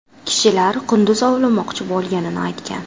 Kishilar qunduz ovlamoqchi bo‘lganini aytgan.